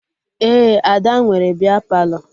Ee, Ada nwere bịa Palọ